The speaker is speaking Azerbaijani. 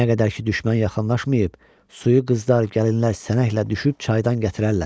Nə qədər ki düşmən yaxınlaşmayıb, suyu qızlar, gəlinlər sənəklə düşüb çaydan gətirərlər.